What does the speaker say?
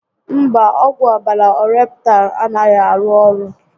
Mba, ọgwụ ọbàrà Ọreptal a naghị arụ orụ